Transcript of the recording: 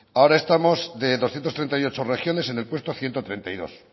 ahora estamos de doscientos treinta y ocho regiones en el puesto ciento treinta y dos